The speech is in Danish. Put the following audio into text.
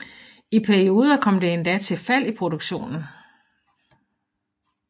I perioder kom det endda til fald i produktionen